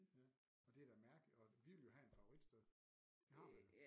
Ja og det er da mærkelig og vi ville jo have en favoritsted det har man da